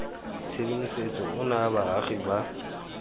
tshedimosetso o naya baagi ba